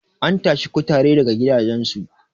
an tashi kutare daga gidajensu